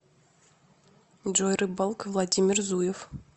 джой рыбалка владимир зуев